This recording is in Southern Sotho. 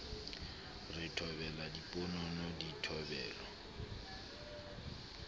re thobela diponono di thobelwa